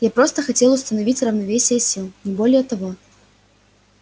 я просто хотел установить равновесие сил не более того